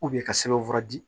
ka sɛbɛn fura di